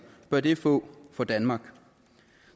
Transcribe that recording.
bør det få for danmark